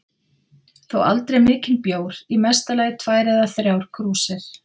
Þó aldrei mikinn bjór, í mesta lagi tvær eða þrjár krúsir.